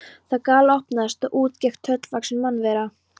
Það galopnaðist og út gekk tröllvaxin mannvera.